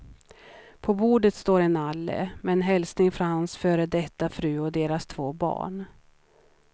På bordet står en nalle, med en hälsning från hans före detta fru och deras två barn.